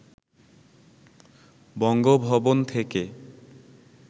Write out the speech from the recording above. বঙ্গভবন থেকে